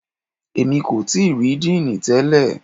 Èmi kò tíì rí Díìnì tẹlẹ̀.